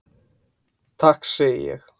Takk segi ég.